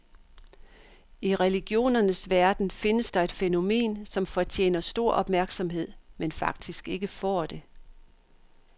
I religionernes verden findes der et fænomen, som fortjener stor opmærksomhed, men faktisk ikke får det.